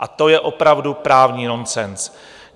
A to je opravdu právní nonsens.